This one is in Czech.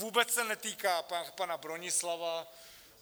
Vůbec se netýká pana Bronislava.